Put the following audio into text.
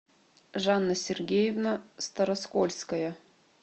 жанна сергеевна староскольская